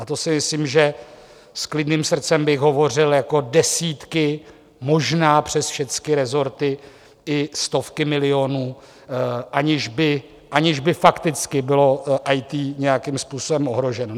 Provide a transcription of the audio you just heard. A to si myslím, že s klidným srdcem bych hovořil jako desítky, možná přes všecky resorty i stovky milionů, aniž by fakticky bylo IT nějakým způsobem ohroženo.